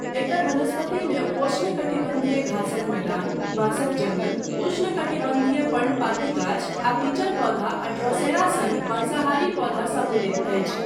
एकर वनस्पतिमे उपोष्णकटिबन्धीय घासक मैदान, बाँसक जङ्गल, उष्णकटिबन्धीय पर्णपाती गाछ आ पिचर पौधा आ ड्रोसेरा सन मांसाहारी पौधा सम्मिलित अछि।